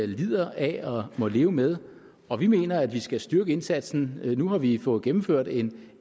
lider af og må leve med og vi mener at vi skal styrke indsatsen nu har vi fået gennemført en